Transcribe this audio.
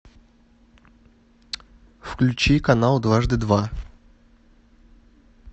включи канал дважды два